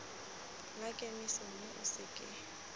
la kemiso mme o seke